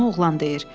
Bunu oğlan deyir.